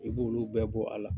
I b'olu bɛɛ bɔ a la